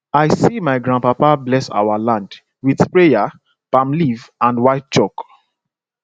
i see my grandpapa bless our land with prayer palm leaf and white chalk